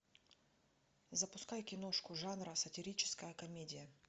запускай киношку жанра сатирическая комедия